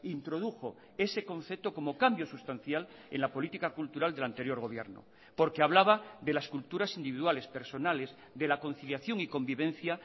introdujo ese concepto como cambio sustancial en la política cultural del anterior gobierno porque hablaba de las culturas individuales personales de la conciliación y convivencia